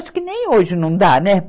Acho que nem hoje não dá, né?